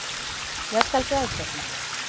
Ég skal gæta þín.